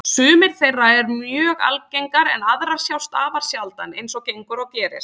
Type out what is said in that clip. Sumar þeirra eru mjög algengar en aðrar sjást afar sjaldan, eins og gengur og gerist.